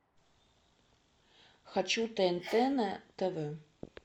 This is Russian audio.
хочу тнт на тв